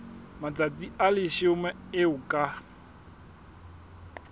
matsatsi a leshome eo ka